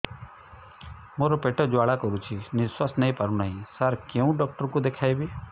ମୋର ପେଟ ଜ୍ୱାଳା କରୁଛି ନିଶ୍ୱାସ ନେଇ ପାରୁନାହିଁ ସାର କେଉଁ ଡକ୍ଟର କୁ ଦେଖାଇବି